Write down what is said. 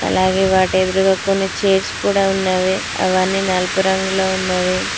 అలాగే వాటి ఎదురుగా కొన్ని చైర్స్ కూడా ఉన్నావి అవన్నీ నలుపు రంగులో ఉన్నవి.